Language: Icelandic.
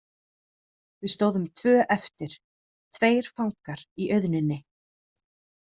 Við stóðum tvö eftir, tveir fangar í auðninni.